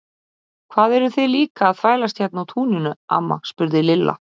Hvað eruð þið líka að þvælast hérna á túninu amma? spurði Lilla.